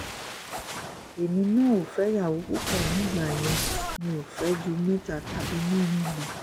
èmi náà ò fẹ́yàwó púpọ̀ nígbà yẹn mi ò fẹ́ ju mẹ́ta tàbí mẹ́rin lọ